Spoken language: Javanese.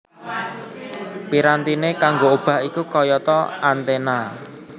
Pirantiné kanggo obah iku kayata antena